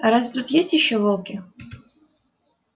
а разве тут есть ещё волки